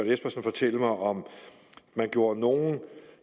espersen fortælle mig om man gjorde nogen